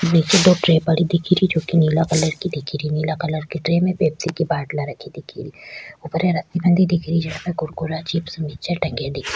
दो ट्रे पड़ी दिख री जो की नीला कलर की दिख री नीला रंग की ट्रे में पेप्सी की बटला रखी दिख री ऊपर ये ररसी बंधी दिख री जहा पे कुकुरे चिप्स नीच टंगे दिख --